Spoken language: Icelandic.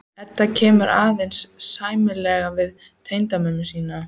Edda kann aðeins sæmilega við tengdamömmu sína.